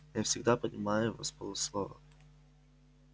я всегда понимаю его с полуслова